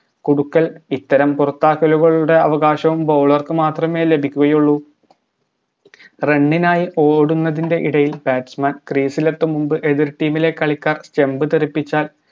കൊടുക്കൽ ഇത്തരം പുറത്താക്കലുകളുടെ അവകാശവും bowler ക്ക് മാത്രമേ ലഭിക്കുകയുള്ളു run നായി ഓടുന്നതിൻറെ ഇടയിൽ batsman crease ലെത്തും മുമ്പ് എതിർ team ലെ കളിക്കാർ stump തെറിപ്പിച്ചാൽ